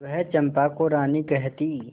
वह चंपा को रानी कहती